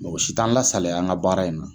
Mɔgɔ si t'an lasalaya an ka baara in na.